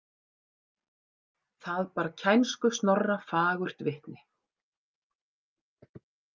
Það bar kænsku Snorra fagurt vitni.